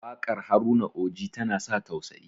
wakar Haruna oji tana sa tausayi